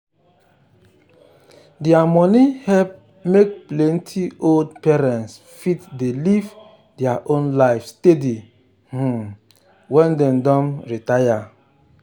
their money help make plenty old parents fit dey live their own life steady um when dem don retire.